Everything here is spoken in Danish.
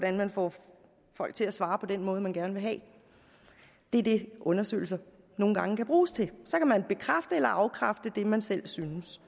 kan man få folk til at svare på den måde man gerne vil have det er det undersøgelser nogle gange kan bruges til så kan man bekræfte eller afkræfte det man selv synes